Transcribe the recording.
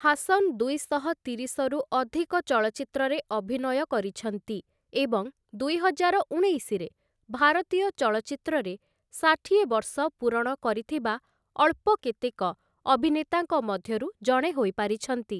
ହାସନ୍‌ ଦୁଇଶହ ତିରିଶରୁ ଅଧିକ ଚଳଚ୍ଚିତ୍ରରେ ଅଭିନୟ କରିଛନ୍ତି ଏବଂ ଦୁଇହଜାର ଉଣେଇଶରେ ଭାରତୀୟ ଚଳଚ୍ଚିତ୍ରରେ ଷାଠିଏ ବର୍ଷ ପୂରଣ କରିଥିବା ଅଳ୍ପ କେତେକ ଅଭିନେତାଙ୍କ ମଧ୍ୟରୁ ଜଣେ ହୋଇପାରିଛନ୍ତି ।